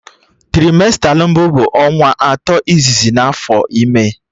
Traimesta mbụ bụ ọnwa atọ izizi n'afọ ime